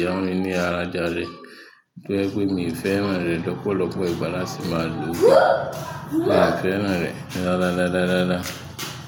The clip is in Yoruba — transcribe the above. yá mi ní ara rẹjàre, tó jẹ́ pé mi ò fẹ́ràn rẹ̀ lọ́pọ̀lọpọ̀ ìgbà láti máa lò ó. Mi ò fẹ́ràn rẹ̀ rárá rárá.